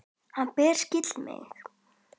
Hann bara skildi mig.